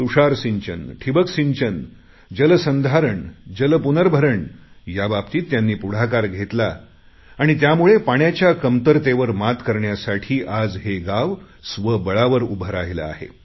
तुषार सिंचन ठिबक सिंचन जलसंधारण जलपुनर्भरण याबाबतीत त्यांनी पुढाकार घेतला आणि त्यामुळे पाण्याच्या कमतरतेवर मात करण्यासाठी आज हे गाव स्वबळावर उभे राहिले आहे